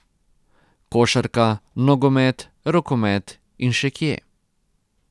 Košarka, nogomet, rokomet in še kje...